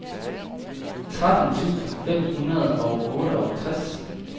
tretten tusind fem hundrede og otteogtres